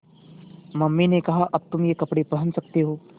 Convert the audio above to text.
mummy ने कहा अब तुम ये कपड़े पहन सकते हो